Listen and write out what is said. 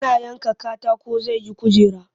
Yana yanka katakon zai yi kujera